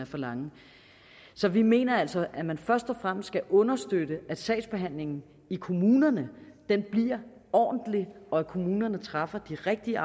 for lange så vi mener altså at man først og fremmest skal understøtte at sagsbehandlingen i kommunerne bliver ordentlig og at kommunerne træffer de rigtige